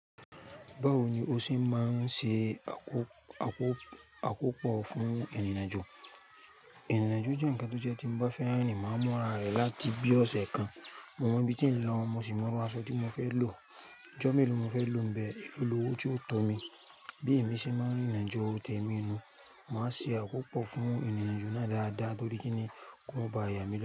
Báwo ni o ṣe máa ń ṣe àkópò fún ìrìnàjò? Ìrìnàjò jẹ́ ǹkan tó jẹ́ tí bá fẹ́ rin, máa mu ra rẹ̀ láti bí ọ̀sẹ̀ kan. Mo mọ ibi tí ń lọ, mo sì mọ iru aṣọ tí mo fẹ́ lò. Ọjọ́ mélòó mo fẹ́ lò níbẹ̀, èlo lówo tí ó tọ́ mi. Bí èmi ṣe máa ń rìn ìrìnàjò tẹ̀mí inú, màá ṣe àkópò fún ìrìnàjò náà dáadáa nítorí pé kí n kó mọba ìyà mí lọ.